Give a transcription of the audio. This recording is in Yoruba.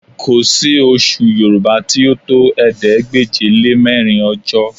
Kò sí oṣù Yorùbá tí ó tó ̀ẹẹ́dégbèje-lé-mẹ́rin ọjọ́